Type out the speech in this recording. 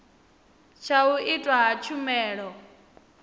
tsha u itwa ha tshumelo